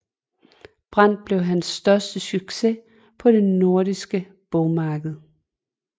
Brand blev hans første succes på det nordiske bogmarked